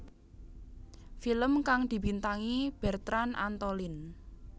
Film kang dibintangi Bertrand Antolin